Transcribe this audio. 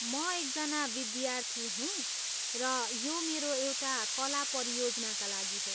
म एकजना विद्यार्थी हुँ र यो मेरो एउटा कला परियोजनाका लागि हो।